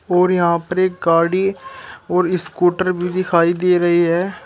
और यहां पर एक गाड़ी और इस्कूटर भी दिखाई दे रही है।